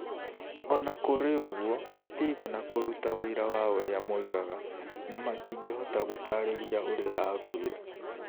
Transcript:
O na kũrĩ ũguo, matiigana kũruta ũira wa ũrĩa moigaga na matingĩhota gũtaarĩria ũrĩa aakuire.